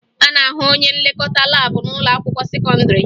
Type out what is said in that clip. A na-ahụ onye nlekọta laabụ n'ụlọakwụkwọ sekọndịrị